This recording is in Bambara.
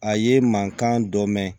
A ye mankan dɔ mɛn